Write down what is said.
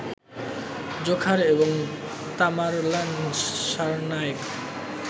Dzhokhar এবং Tamerlan Tsarnaev